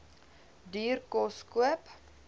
duur kos koop